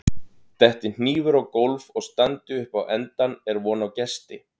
Detti hnífur á gólf og standi upp á endann er von á gesti.